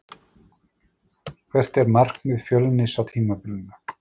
Hvert er markmið Fjölnis á tímabilinu?